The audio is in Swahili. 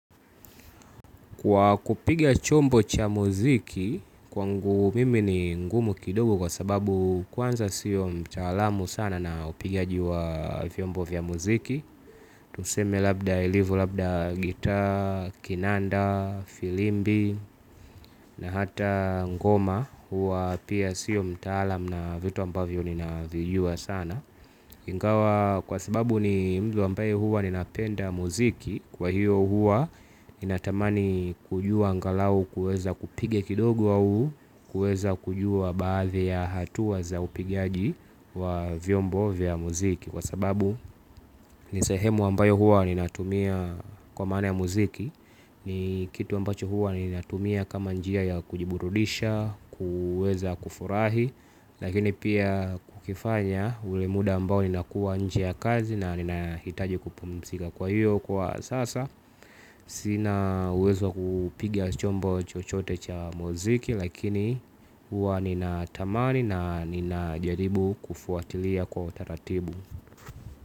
Kwa kupiga chombo cha muziki kwangu mimi ni ngumu kidogo kwa sababu kwanza sio mtaalamu sana na upigaji wa vyombo vya muziki. Tuseme labda ilivu labda gita, kinanda, filimbi na hata ngoma hua pia siyo mtaalam na vitu ambavyo nina vijua sana. Ingawa kwa sababu ni muda ambayo huwa ninapenda muziki kwa hiyo huwa ninatamani kujua angalau kuweza kupige kidogo au kuweza kujua baadhi ya hatua za zaupigaji wa vyombo vya muziki. Kwa sababu nisehemu ambayo huwa ninatumia kwa maana ya muziki ni kitu ambacho huwa ninatumia kama njia ya kujiburudisha, kuweza kufurahi. Lakini pia kukifanya ule muda ambao nina kuwa nje ya kazi na ninahitaji kupumizika kwa hiyo kwa sasa. Sina uwezo kupiga chombo chochote cha muziki. Lakini huwa nina tamani na nina jaribu kufuatilia kwa utaratibu.